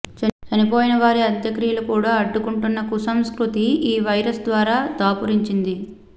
చనిపోయిన వారి అంత్యక్రియలు కూడా అడ్డుకుంటున్న కుసంస్కృతి ఈ వైరస్ ద్వారా దాపురించింది